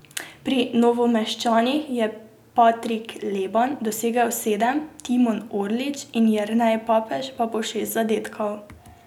Pri Novomeščanih je Patrik Leban dosegel sedem, Timon Orlič in Jernej Papež pa po šest zadetkov.